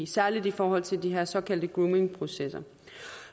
særlig i forhold til de her såkaldte groomingprocesser